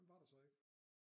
Hvem var der så ikke